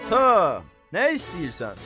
Ata, nə istəyirsən?